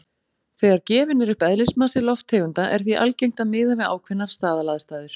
Þegar gefinn er upp eðlismassi lofttegunda er því algengt að miða við ákveðnar staðalaðstæður.